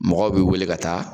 Mɔgɔw b'i wele ka taa